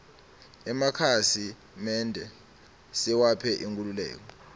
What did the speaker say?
emakhasi mende siwaphe inkhululeke